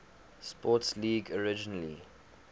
sports league originally